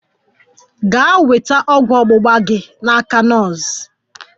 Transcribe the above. Gaa nweta ọgwụ ọgbugba gi n'aka nọọsụ!